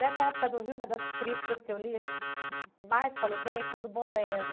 Dessa época do Rio, uma das críticas que eu li, assim que mais falou bem, foi do Bolero.